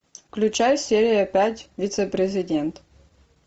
включай серия пять вице президент